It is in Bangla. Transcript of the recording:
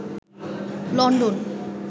লন্ডন